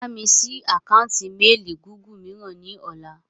Bámi sì àkántì "Mééli Gúgù" mìíràn ni ọ̀la.